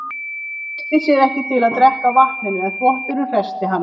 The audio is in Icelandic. Hún treysti sér ekki til að drekka af vatninu en þvotturinn hressti hana.